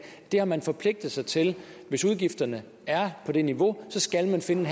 det har man forpligtet sig til hvis udgifterne er på det niveau skal man finde